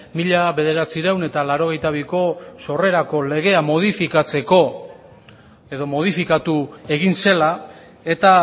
mila bederatziehun eta laurogeita biko sorrerako legea modifikatzeko edo modifikatu egin zela eta